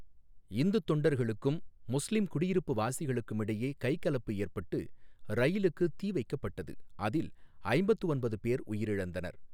இந்துத் தொண்டர்களுக்கும் முஸ்லிம் குடியிருப்பு வாசிகளுக்கும் இடையே கைகலப்பு ஏற்பட்டு ரயிலுக்கு தீ வைக்கப்பட்டது, அதில் ஐம்பத்து ஒன்பது பேர் உயிரிழந்தனர்.